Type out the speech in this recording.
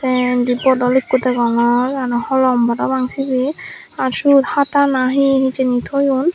te indi bodol ikko degongor aro holom parapang sibey ar siyot hata nahi he hijeni toyon.